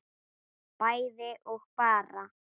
bæði og bara